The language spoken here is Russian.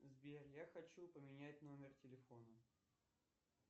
сбер я хочу поменять номер телефона